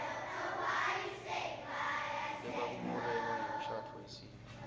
lebakukholelwa ngemishadvo yesitfu